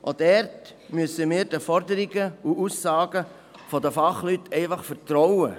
Auch dort müssen wir den Forderungen und Aussagen der Fachleute vertrauen.